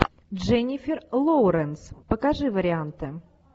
дженнифер лоуренс покажи варианты